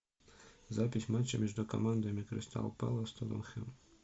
запись матча между командами кристал пэлас тоттенхэм